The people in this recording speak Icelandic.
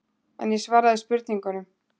En ég svaraði spurningunum.